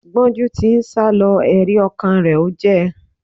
Gbọ́njú ti ń sálọ, ẹ̀rí ọkàn rẹ̀ ò jẹ́